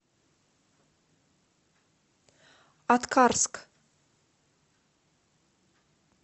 аткарск